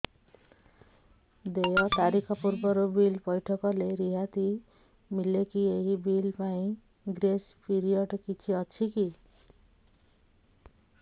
ଦେୟ ତାରିଖ ପୂର୍ବରୁ ବିଲ୍ ପୈଠ କଲେ ରିହାତି ମିଲେକି ଏହି ବିଲ୍ ପାଇଁ ଗ୍ରେସ୍ ପିରିୟଡ଼ କିଛି ଅଛିକି